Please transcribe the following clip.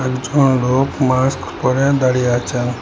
একজন লোক মাস্ক পরে দাঁড়িয়ে আছেন।